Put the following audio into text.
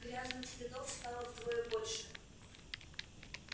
грязных следов стало вдвое больше